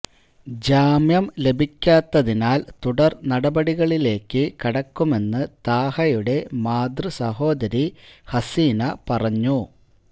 ജാമ്യം ലഭിക്കാത്തതിനാല് തുടര് നടപടികളിലേക്ക് കടക്കുമെന്ന് താഹയുടെ മാതൃസഹോദരി ഹസീന പറഞ്ഞു